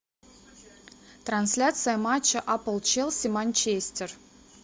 трансляция матча апл челси манчестер